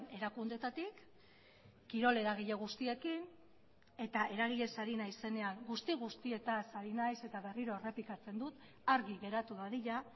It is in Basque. erakundeetatik kirol eragile guztiekin eta eragilez ari naizenean guzti guztietaz ari naiz eta berriro errepikatzen dut argi geratu dadila